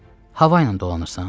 Hava ilə dolanırsan?